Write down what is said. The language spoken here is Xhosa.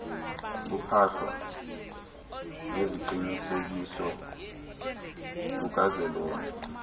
kuphahla lweziqinisekiso lukazwelonke